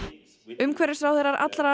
umhverfisráðherrar allra